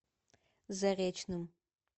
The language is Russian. заречным